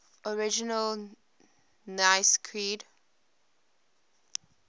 original nicene creed